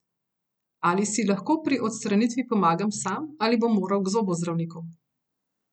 Ali si lahko pri odstranitvi pomagam sam ali bom moral k zobozdravniku?